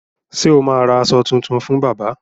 Ṣé o ma ra aṣọ tuntun fún bábà?